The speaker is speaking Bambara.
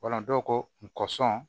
Wala dɔw ko n kɔ sɔn